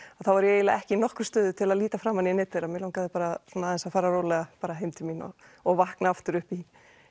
þá var ég eiginlega ekki í nokkru stuði til að líta framan í neinn þeirra mig langaði bara aðeins að fara rólega heim til mín og vakna aftur upp í